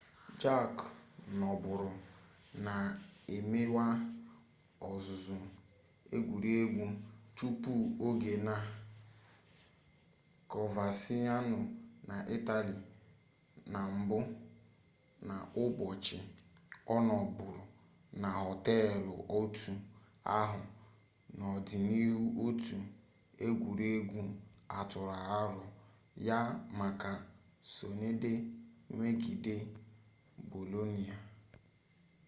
jarque nọbụrụ na-emewa ọzụzụ egwuregwu tupu-oge na coverciano na itali na mbụ n'ụbọchị ọ nọbụrụ na họteelụ otu ahụ n'ọdịnihu otu egwuregwu atụrụ arọ ya maka sọnde megide bolonia